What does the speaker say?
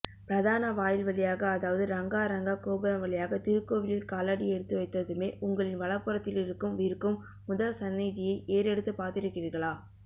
பிரதான வாயில்வழியாக அதாவது ரங்கா ரங்கா கோபுரம்வழியாக திருக்கோவிலில் காலடி எடுத்துவைத்ததுமே உங்களின் வலப்புறத்திலிருக்கும் இருக்கும் முதல்சந்நிதியை ஏறெடுத்துப்பார்த்திருக்கிறீர்களா